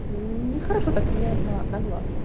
нехорошо так влияет на на глазки